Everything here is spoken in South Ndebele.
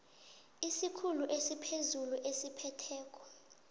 isikhulu esiphezulu esiphetheko